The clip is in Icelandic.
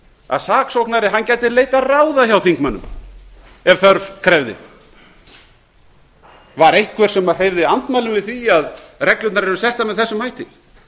að saksóknari gæti leitað ráða hjá þingmönnum ef þörf krefði var einhver sem hreyfði andmælum við því að reglurnar yrðu settar með þessum hætti